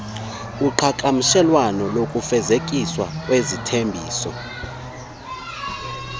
uqhagamshelwano lokufezekiswa kwezithembiso